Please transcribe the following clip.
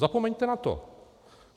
Zapomeňte na to.